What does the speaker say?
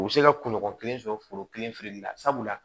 U bɛ se ka kunɲɔgɔn kelen sɔrɔ foro kelen feereli la sabula